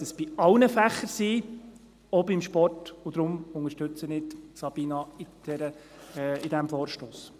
Wir sollten es bei allen Fächern sein, auch beim Sport, und deshalb unterstütze ich Sabina Geissbühler in diesem Vorstoss.